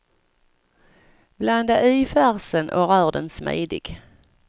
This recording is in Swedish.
Blanda i färsen och rör den smidig.